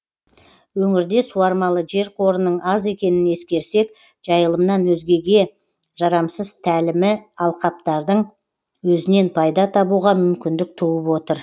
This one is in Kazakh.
өңірде суармалы жер қорының аз екенін ескерсек жайылымнан өзгеге жарамсыз тәлімі алқаптардың өзінен пайда табуға мүмкіндік туып отыр